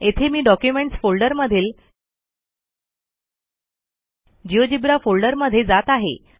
येथे मी डॉक्युमेंटस फोल्डरमधील जिओजेब्रा फोल्डरमध्ये जात आहे